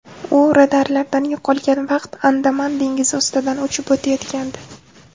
U radarlardan yo‘qolgan vaqt Andaman dengizi ustidan uchib o‘tayotgandi.